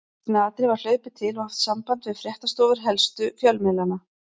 Í snatri var hlaupið til og haft samband við fréttastofur helstu fjölmiðlanna.